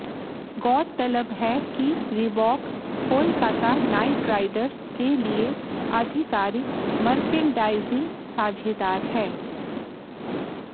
गौरतलब है कि रीबॉक कोलकाता नाइट राइडर्स के लिए आधिकारिक मर्केंडाइजिंग साझेदार है